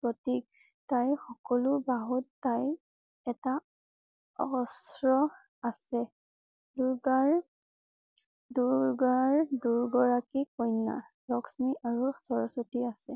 প্ৰতীক । তাইৰ সকলো বাহুত তাইৰ এটা অহস্ৰ আছে। দুৰ্গাৰ দুৰগাৰ দুই গৰাকী কন্যা । লক্ষ্মী আৰু সৰস্বতী আছে ।